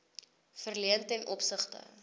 verleen ten opsigte